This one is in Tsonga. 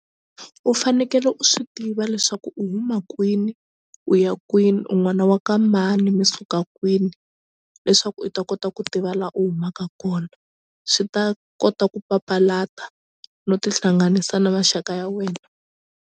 U fanekele u swi tiva leswaku u huma kwini u ya kwini un'wana wa ka mani mi suka kwini leswaku u ta kota ku tiva la u humaka kona swi ta kota ku papalata no tihlanganisa na maxaka ya wena.